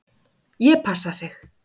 Ég passa þig.